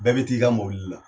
Bɛɛ bɛ t'i ka mobili la.